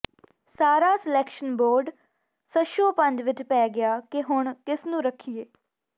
ਸਾਰਾ selection board ਸ਼ਸ਼ੋਪੰਝ ਵਿਚ ਪੈ ਗਿਆ ਕੇ ਹੁਣ ਕਿਸਨੂੰ ਰੱਖੀਏ